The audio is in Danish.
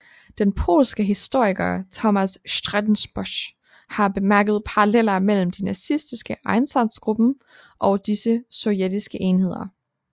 Den polske historiker Tomasz Strzembosz har bemærket paralleller mellem de nazistiske Einsatzgruppen og disse sovjetiske enheder